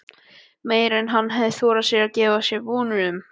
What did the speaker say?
Meira en hann hafði þorað að gera sér vonir um.